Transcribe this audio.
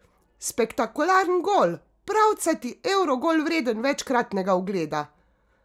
Spektakularen gol, pravcati evrogol vreden večkratnega ogleda!